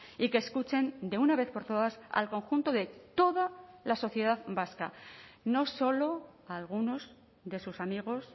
y que escuchen de una vez por todas al conjunto de toda la sociedad vasca no solo a algunos de sus amigos